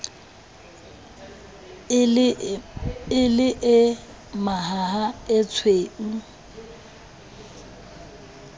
e le e mahaha etshweu